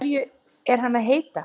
Hverju er hann að heita?